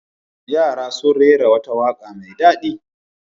Yara sun rera wata waƙa mai daɗi.